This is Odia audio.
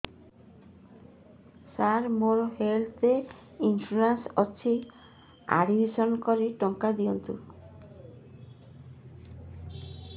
ସାର ମୋର ହେଲ୍ଥ ଇନ୍ସୁରେନ୍ସ ଅଛି ଆଡ୍ମିଶନ କରି ଟଙ୍କା ଦିଅନ୍ତୁ